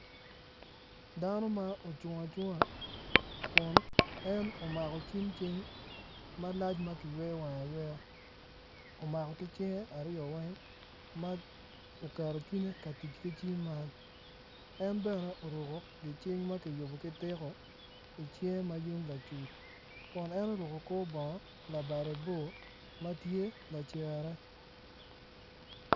Dano ma ocung acunga kun en omako cim cing malac ma kiyweyo wange ayweya omako ki cinge aryo weng ma oketo cwinye ka tic ki cim man en bene oruko gicing ma ki yiko ki tiko i cinge ma yung lacuc kun en oruko kor bong labade bor ma tye lacere.